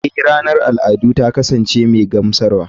Eh ranar al'adu ta kasance mai gamsarwa.